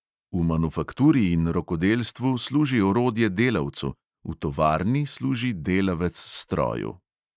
V manufakturi in rokodelstvu služi orodje delavcu, v tovarni služi delavec stroju.